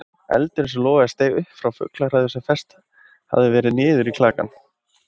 Eldurinn sem logaði steig upp frá fuglahræðu sem fest hafði verið niður í klakann.